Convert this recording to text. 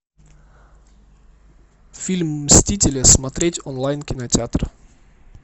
фильм мстители смотреть онлайн кинотеатр